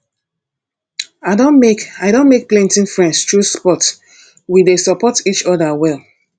i don make i don make plenty friends through sports we dey support each other well